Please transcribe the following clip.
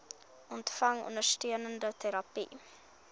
ontvang ondersteunende terapie